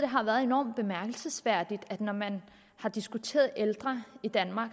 har været enormt bemærkelsesværdigt når man har diskuteret ældre i danmark